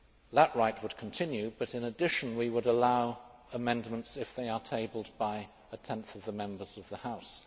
That right would continue, but in addition we would allow amendments if they are tabled by a 10th of the Members of the House.